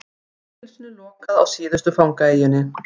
Fangelsinu lokað á síðustu fangaeyjunni